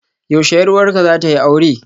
Yaushe 'yar uwarka zata yi aure?